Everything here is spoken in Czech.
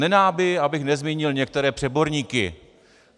Nedá mi, abych nezmínil některé přeborníky.